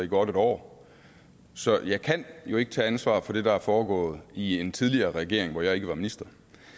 godt et år så jeg kan jo ikke tage ansvar for det der er foregået i en tidligere regering hvor jeg ikke var minister